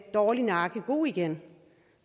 dårlig nakke god igen